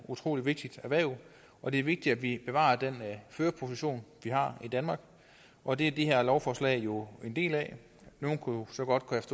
utrolig vigtigt erhverv og det er vigtigt at vi bevarer den førerposition vi har i danmark og det er det her lovforslag jo en del af nogle kunne så godt kan